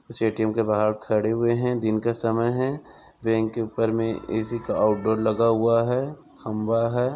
इस ए_टी_एम के बाहर खड़े हुए है दिन का समय है बैंक के ऊपर में ए_सी का आउट डोर लगा हुआ है खंभा हैं।